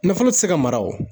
Nafolo ti se ka mara o